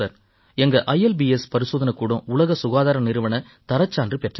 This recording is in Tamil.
எங்க இல்ப்ஸ் பரிசோதனைக்கூடம் உலக சுகாதார நிறுவனத் தரச்சான்று பெற்றது